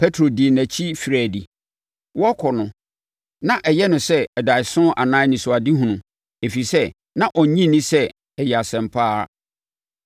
Petro dii nʼakyi firii adi. Wɔrekɔ no, na ɛyɛ no sɛ adaeɛso anaa anisoadehunu, ɛfiri sɛ, na ɔnnye nni sɛ ɛyɛ asɛm pa ara.